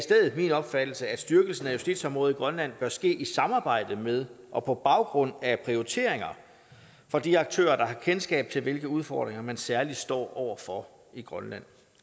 min opfattelse at styrkelsen af justitsområdet i grønland bør ske i samarbejde med og på baggrund af prioriteringer fra de aktører der har kendskab til hvilke udfordringer man særlig står over for i grønland